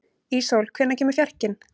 Íssól, hvenær kemur fjarkinn?